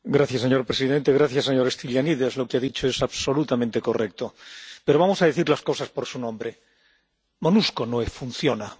Señor presidente, gracias señor Stylianides, lo que ha dicho es absolutamente correcto, pero vamos a decir las cosas por su nombre Monusco no funciona.